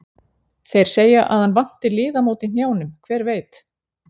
Þeir segja að hann vanti liðamót í hnjánum, hver veit?